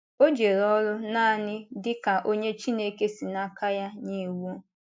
O jere oru nanị dị ka onye Chineke si n’aka ya nye iwu.